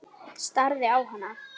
Það skiptir engu, elskan mín.